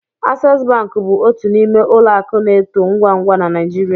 Access bank bụ otu n'ime ụlọ akụ na-eto ngwa ngwa na Naịjirịa